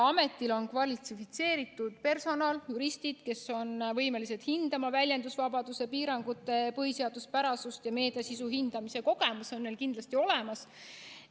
Ametil on kvalifitseeritud personal, juristid, kes on võimelised hindama väljendusvabaduse piirangute põhiseaduspärasust ja meediasisu hindamise kogemus on neil kindlasti olemas.